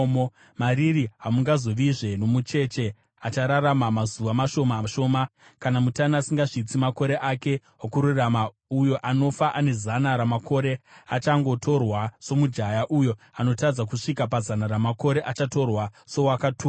“Mariri hamungazovazve nomucheche achararama mazuva mashoma shoma, kana mutana asingasvitsi makore ake okurarama; uyo anofa ane zana ramakore achangotorwa somujaya; uyo anotadza kusvika pazana ramakore achatorwa sowakatukwa.